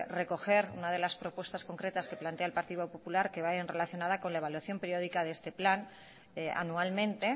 recoger una de las propuestas concretas que plantea el partido popular que vaya relacionada con la evaluación periódica de este plan anualmente